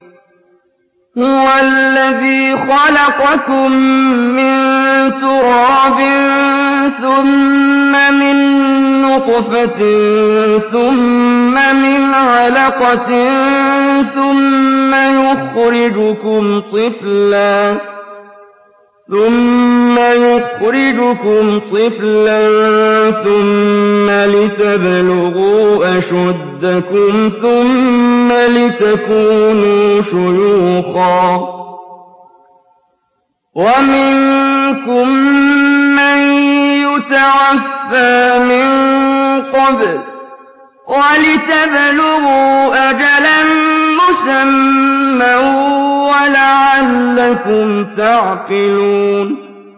هُوَ الَّذِي خَلَقَكُم مِّن تُرَابٍ ثُمَّ مِن نُّطْفَةٍ ثُمَّ مِنْ عَلَقَةٍ ثُمَّ يُخْرِجُكُمْ طِفْلًا ثُمَّ لِتَبْلُغُوا أَشُدَّكُمْ ثُمَّ لِتَكُونُوا شُيُوخًا ۚ وَمِنكُم مَّن يُتَوَفَّىٰ مِن قَبْلُ ۖ وَلِتَبْلُغُوا أَجَلًا مُّسَمًّى وَلَعَلَّكُمْ تَعْقِلُونَ